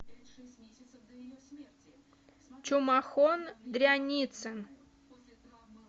чумахон дряницын